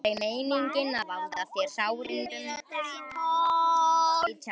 Klukkuna vantaði tíu mínútur í tólf.